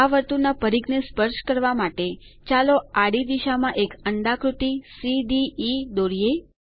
આ વર્તુળના પરિધ ને સ્પર્શ કરવા માટે ચાલો આડી દિશામાં એક અંડાકૃતિ સીડીઇ દોરીએ